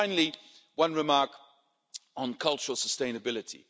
Finally, one remark on cultural sustainability.